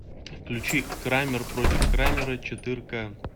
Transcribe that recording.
включи крамер против крамера четырка